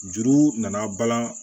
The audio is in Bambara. Juru nana balan